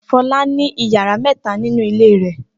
Fọlá ní ìyàrá mẹ́ta nínú ilé rẹ̀.